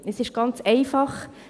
Es ist ganz einfach: